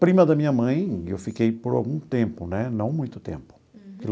Prima da minha mãe, eu fiquei por algum tempo né, não muito tempo. Uhum.